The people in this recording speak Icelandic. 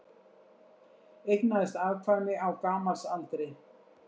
Eignaðist afkvæmi á gamalsaldri